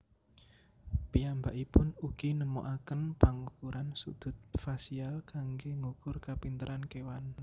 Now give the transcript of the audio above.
Piyambakipun ugi nemokaken pangukuran sudut fasial kanggé ngukur kapinteran kéwan